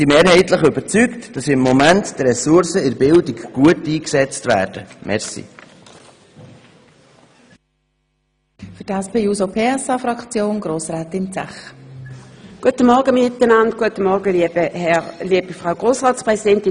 Wir sind mehrheitlich davon überzeugt, dass die Ressourcen in der Bildung zurzeit gut eingesetzt werden.